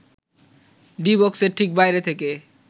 D বক্সের ঠিক বাইরে থেকে